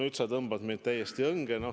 Nüüd sa tõmbad mind täiesti õnge.